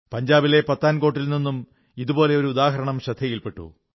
പഞ്ചാബിലെ പത്താൻകോട്ടിൽ നിന്നും ഇതുപോലെ ഒരു ഉദാഹരണം ശ്രദ്ധയിൽ പെട്ടു